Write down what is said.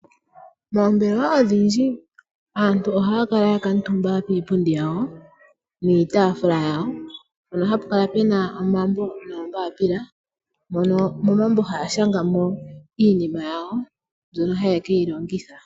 Moombelewa odhindji aantu ohaya kala ya kuutumba kiipundi yawo niitaafula yawo mpono hapu kala pu na omambo noombaapila, mono momambo haya shanga mo iinima yawo mbyono haye ke yi longitha.